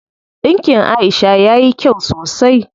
Ɗinkin Aisha yayi kyau sosai.